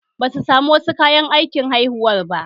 Basu samu wasu kayan aikin haihuwar ba